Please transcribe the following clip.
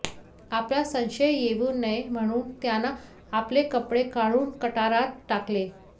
आपला संशय येवू नये म्हणून त्यानं आपले कपडे काढून गटारात टाकले